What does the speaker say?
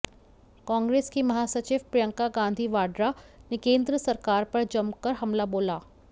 कांग्रेस की महासचिव प्रियंका गांधी वाड्रा ने केंद्र सरकार पर जमकर हमला बोला